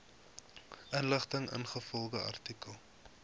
inligting ingevolge artikel